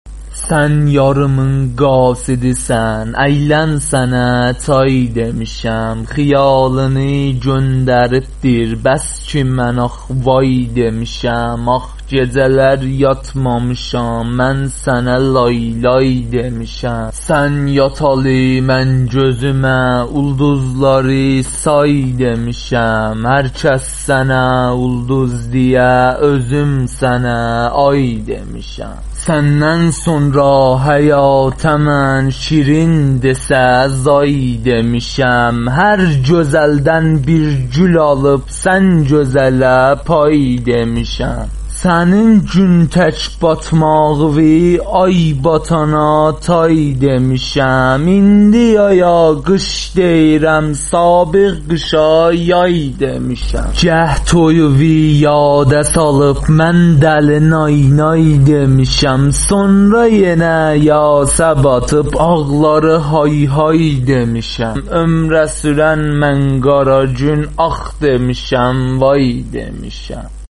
سن یاریمین قاصدی سن ایلن سنه چای دیمیشم خیالینی گوندریب دیر بسکی من آخ وای دیمیشم آخ گیجه لر یاتمامیشام من سنه لای لای دیمیشم سن یاتالی من گوزومه اولدوزلاری سای دیمیشم هر کس سنه اولدوز دییه اوزوم سنه آی دیمیشم سننن سورا حیاته من شیرین دیسه زای دیمیشم هر گوزلدن بیر گول آلیب سن گوزه له پای دیمیشم سنین گون تک باتماغیوی آی باتانا تای دیمیشم ایندی یایا قیش دیییرم سابق قیشا یای دیمیشم گاه توییوی یاده سالیب من دلی نای نای دیمیشم سونرا گینه یاسه باتیب آغلاری های های دیمیشم اتک دولی دریا کیمی گؤز یاشیما چای دیمیشم عمره سورن من قره گون آخ دیمیشم وای دیمیشم